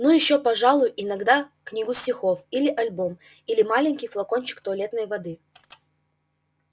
ну ещё пожалуй иногда книгу стихов или альбом или маленький флакончик туалетной воды